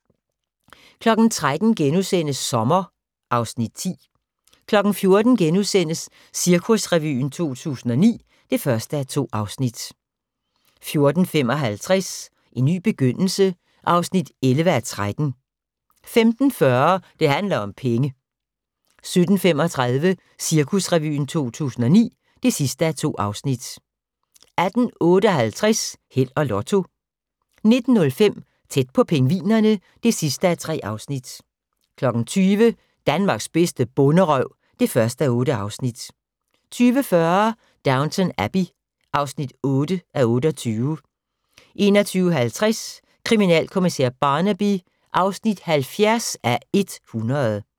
13:00: Sommer (Afs. 10)* 14:00: Cirkusrevyen 2009 (1:2)* 14:55: En ny begyndelse (11:13) 15:40: Det handler om penge 17:35: Cirkusrevyen 2009 (2:2) 18:58: Held og Lotto 19:05: Tæt på pingvinerne (3:3) 20:00: Danmarks bedste bonderøv (1:8) 20:40: Downton Abbey (8:28) 21:50: Kriminalkommissær Barnaby (70:100)